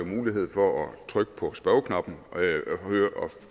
mulighed for at trykke på spørgeknappen og